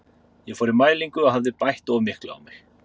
Ég fór í mælingu og hafði bætt of miklu á mig.